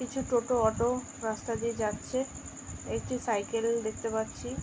কিছু টোটো অটো রাস্তা দিয়ে যাচ্ছে একটি সাইকেল দেখতে পাচ্ছি ।